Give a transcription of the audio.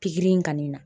Pikiri in kanni